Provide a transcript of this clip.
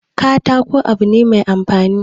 Katako abu ne mai amfani